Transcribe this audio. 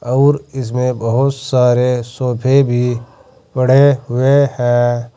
और इसमें बहोत सारे सोफे भी पड़े हुए हैं।